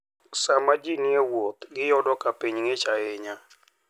Sama ji ni e wuoth, giyudo ka piny ng'ich ahinya.